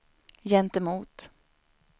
gentemot